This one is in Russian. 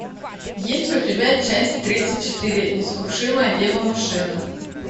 есть ли у тебя часть тридцать четыре несокрушимая дева машина